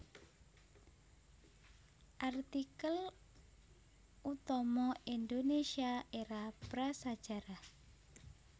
Artikel utama Indonésia Era prasajarah